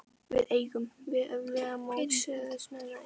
Við eigum við öfluga mótstöðumenn að etja.